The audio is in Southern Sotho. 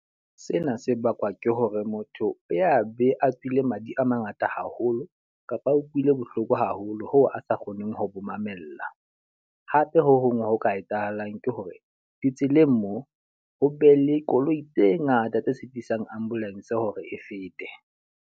Sena se bakwa ke hore motho o a be a tswile madi a mangata haholo kapa a utlwile bohloko haholo hoo a sa kgoneng ho bo mamella. Hape ho hong ho ka etsahalang ke hore, ditseleng mo ho be le koloi tse ngata tse sitisang ambulance hore e fete.